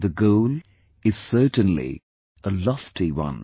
The goal is certainly a lofty one